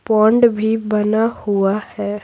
Pond भी बना हुआ है।